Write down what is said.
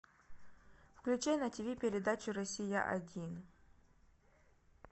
включай на тиви передачу россия один